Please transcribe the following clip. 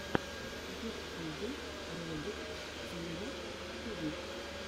в ютубе ролик хига ти ви